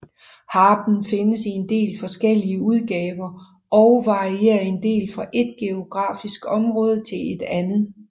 Harpen findes i en del forskellige udgaver og varierer en del fra ét geografisk område til et andet